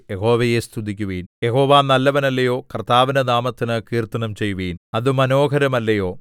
യഹോവയെ സ്തുതിക്കുവിൻ യഹോവ നല്ലവൻ അല്ലയോ കർത്താവിന്റെ നാമത്തിന് കീർത്തനം ചെയ്യുവിൻ അത് മനോഹരമല്ലയോ